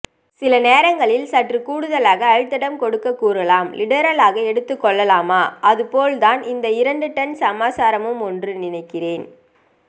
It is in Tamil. சில நேரங்களில் சற்று கூடுதலாகக் அழுத்டம் கொடுக்கக் கூறலாம் லிடெரலாக எடுத்துக்கொள்ளலாமா அதுபோல்தான் இந்த இரண்டு டன் சமாச்சாரமுமென்று நினைக்கிறேன்